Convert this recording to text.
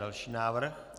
Další návrh.